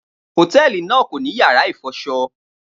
Hotẹẹli naa ko ni yara ifọṣọ